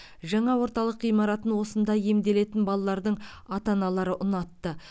жаңа орталық ғимаратын осында емделетін балалардың ата аналары ұнатты